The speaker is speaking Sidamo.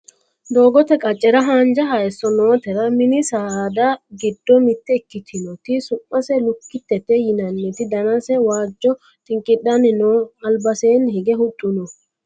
doogote qaccera haanja hayeesso nootera mini saada giddo mitte ikkitinoti su'mase lukkittete yinanniti danase waajjo xinqidhanni no albaseeni hige huxxu noi